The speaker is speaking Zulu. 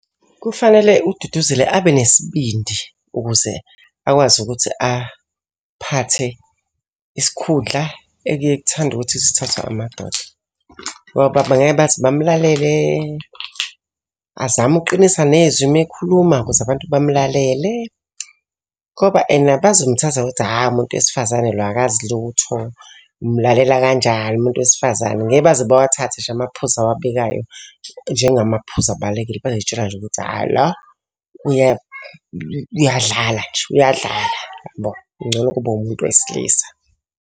Kufanele uDuduzile abe nesibindi ukuze akwazi ukuthi aphathe isikhundla ekuyeke kuthande ukuthi isithathwe amadoda. Ngoba bangeke baze bamlalele, azame ukuqinisa nezwi uma ekhuluma ukuze abantu bamlalele. Ngoba ena bazomthatha ngokuthi hha umuntu wesifazane lo akazi lutho. Umulalela kanjani umuntu wesifazane? Ngeke baze bawathathe ngisho amaphuzu awabekayo njengamaphuzu abalulekile. Bazoy'tshela nje ukuthi hhayi lo uyadlala nje, uyadlala yabo, ngcono, kube umuntu wesilisa.